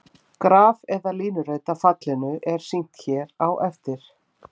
Graf eða línurit af fallinu er sýnt hér á eftir.